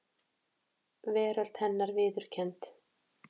Veröld hennar viðurkennd.